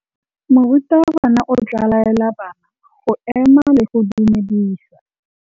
Morutabana o tla laela bana go ema le go go dumedisa.